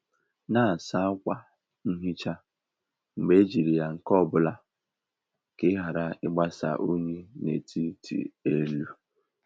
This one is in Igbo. Na-asa ákwà nhicha mgbe ejiri ya nke ọ bụla ka ị ghara ịgbasa unyi n'etiti elu.